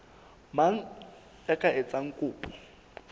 mang ya ka etsang kopo